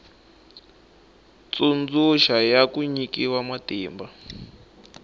tsundzuxa ya ku nyikiwa matimba